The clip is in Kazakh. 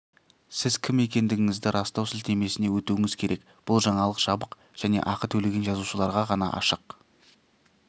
сіз кім екендігіңізді растау сілтемесіне өтуіңіз керек бұл жаңалық жабық және ақы төлеген жазылушыларға ғана ашық